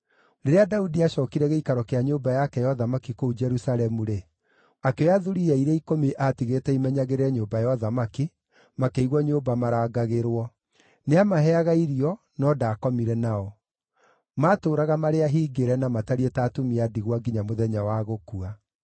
Rĩrĩa Daudi aacookire gĩikaro kĩa nyũmba yake ya ũthamaki kũu Jerusalemu-rĩ, akĩoya thuriya iria ikũmi aatigĩte imenyagĩrĩre nyũmba ya ũthamaki, makĩigwo nyũmba marangagĩrwo. Nĩamaheaga irio, no ndaakomire nao. Maatũũraga marĩ ahingĩre na matariĩ ta atumia a ndigwa nginya mũthenya wa gũkua.